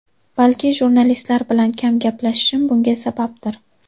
Balki jurnalistlar bilan kam gaplashishim bunga sababdir.